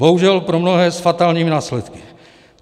Bohužel pro mnohé s fatálními následky.